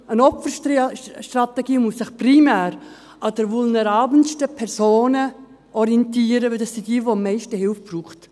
Eine Opferstrategie muss sich primär an den vulnerabelsten Personen orientieren, weil das diejenigen sind, die am meisten Hilfe brauchen.